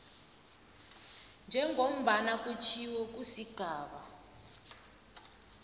njengombana kutjhiwo kusigaba